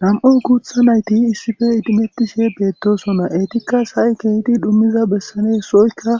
Nam7u kuutha nayti issife idimettishe beettosona eetikka s ay keeydi dhummiza bessane sooykka